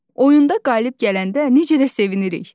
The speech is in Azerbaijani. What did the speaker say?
Oyunda qalib gələndə necə də sevinirik?